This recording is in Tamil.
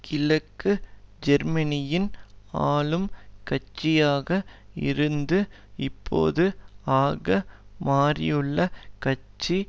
கிழக்கு ஜெர்மனியின் ஆளும் கட்சியாக இருந்து இப்போது ஆக மாறியுள்ள கட்சி